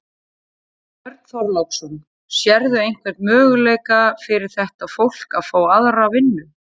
Björn Þorláksson: Sérðu einhvern möguleika fyrir þetta fólk að fá aðra vinnu?